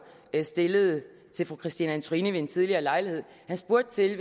stillede til fru christine antorini ved en tidligere lejlighed han spurgte til